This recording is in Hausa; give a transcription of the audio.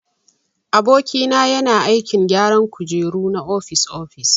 Aboki na yana aikin gyara kujeru na ofis-ofis.